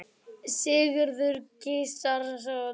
Sigurður Gizurarson.